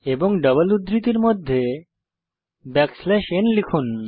এবং ডাবল উদ্ধৃতির মধ্যে ন লিখুন